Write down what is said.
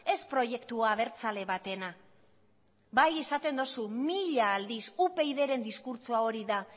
ez proiektu abertzale batena bai esaten duzu mila aldiz upydren diskurtsoa hori da